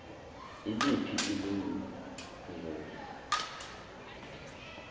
iliphi ilun gule